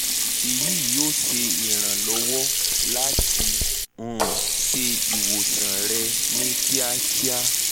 iyi yoo ṣe iranlọwọ lati um ṣe iwosan rẹ ni kiakia